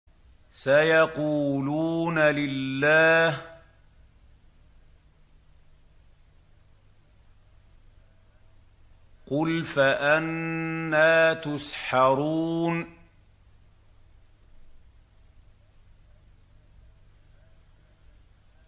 سَيَقُولُونَ لِلَّهِ ۚ قُلْ فَأَنَّىٰ تُسْحَرُونَ